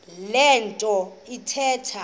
le nto athetha